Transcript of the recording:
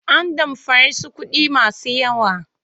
An damfare su kuɗi masu yawa.